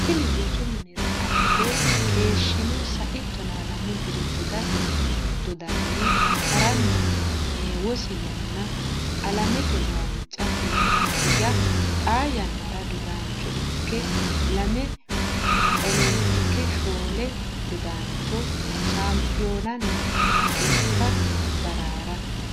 Tini rosu minira adhe keeshshino Sai tonaalamu diri dodate dodanni ha ranna heewosi yanna alamete macca fulino higa xaa yannara dodaancho ikke lame Olompike shoole dodaancho Shampiyonanna culka ba raa ra.